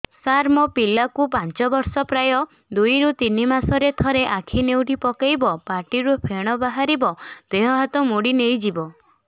ସାର ମୋ ପିଲା କୁ ପାଞ୍ଚ ବର୍ଷ ପ୍ରାୟ ଦୁଇରୁ ତିନି ମାସ ରେ ଥରେ ଆଖି ନେଉଟି ପକାଇବ ପାଟିରୁ ଫେଣ ବାହାରିବ ଦେହ ହାତ ମୋଡି ନେଇଯିବ